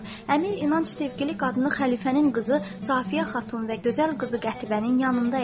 Əmir İnanc sevgili qadını xəlifənin qızı Safiyə xatun və gözəl qızı Qətibənin yanında idi.